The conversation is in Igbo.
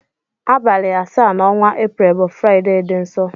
Abali asa na ọnwa april bu friday di nsọ.